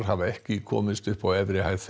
hafa ekki komist upp á efri hæð